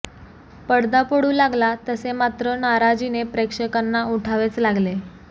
पडदा पडू लागला तसे मात्र नाराजीने प्रेक्षकांना उठावेच लागले